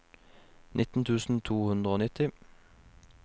nitten tusen to hundre og nitti